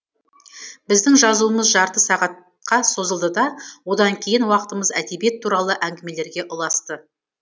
біздің жазуымыз жарты сағатқа созылды да одан кейінгі уақытымыз әдебиет туралы әңгімелерге ұласты